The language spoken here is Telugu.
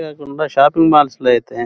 కింద షాపింగ్ మాల్ల్స్ --